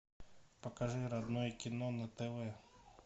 покажи родное кино на тв